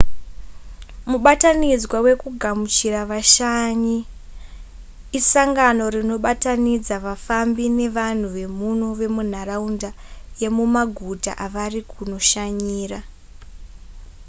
mubatanidzwa wekugamuchira vashanyi isangano rinobatanidza vafambi nevanhu vemuno vemunharaunda yemumaguta avari kunoshanyira